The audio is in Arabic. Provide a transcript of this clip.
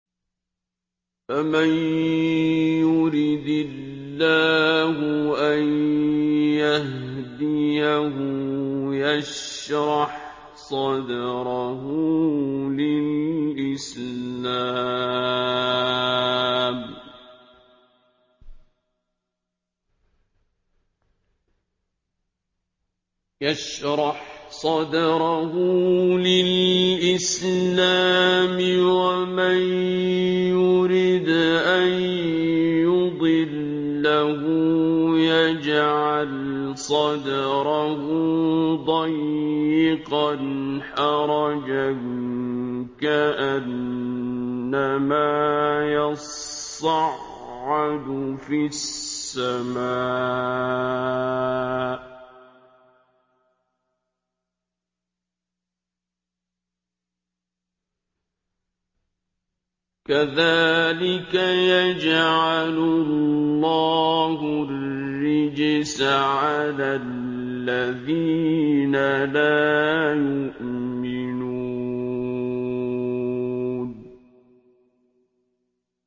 فَمَن يُرِدِ اللَّهُ أَن يَهْدِيَهُ يَشْرَحْ صَدْرَهُ لِلْإِسْلَامِ ۖ وَمَن يُرِدْ أَن يُضِلَّهُ يَجْعَلْ صَدْرَهُ ضَيِّقًا حَرَجًا كَأَنَّمَا يَصَّعَّدُ فِي السَّمَاءِ ۚ كَذَٰلِكَ يَجْعَلُ اللَّهُ الرِّجْسَ عَلَى الَّذِينَ لَا يُؤْمِنُونَ